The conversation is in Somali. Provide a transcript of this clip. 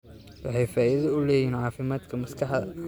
Waxay faa'iido u leeyihiin caafimaadka maskaxda.